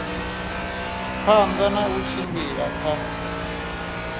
phanḓa na u tshila kha